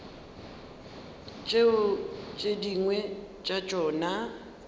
tšeo tše dingwe tša tšona